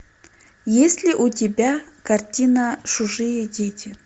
есть ли у тебя картина чужие дети